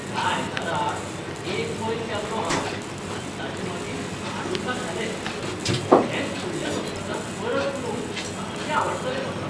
ह्या आयताराक एक मैल पेंवलों हांव आनी ताचे मागीर धा डोसा खाले. हेंच फुडल्या सप्तकांत परत करूंक सामकें आवडटलें म्हाका.